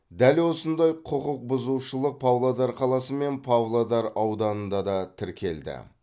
дәл осындай құқық бұзушылық павлодар қаласы мен павлодар ауданында да тіркелді